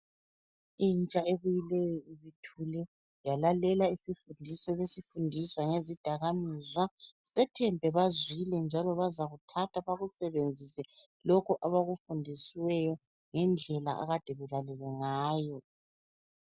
Intsha ebuyileyo obuhle yalalela isifundiso ebesifundiswa ngezidaka mizwa, sethembe bazwile njalo bazakuthatha bawusebenzise lokho abakufundisiweyo ngendlela akade belalele ngayo